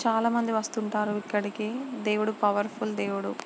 చాలా మంది వస్తుంటారు ఇక్కడకి దేవుడు పవర్ ఫుల్ దేవుడు --